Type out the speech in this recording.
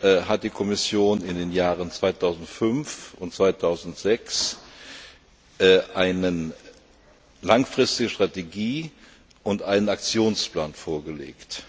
hat die Kommission in den Jahren 2005 und 2006 eine langfristige Strategie und einen Aktionsplan vorgelegt.